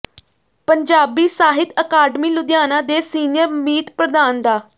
Punjabi Sahit academy Ludhiana ਦੇ senior ਮੀਤ ਪ੍ਰਧਾਨ ਡਾ